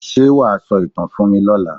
Ṣé wà á sọ ìtàn fún mí lọla?